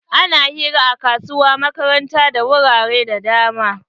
Ana hira a kasuwa makaranta da wurare da dama.